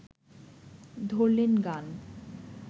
ধরলেন গান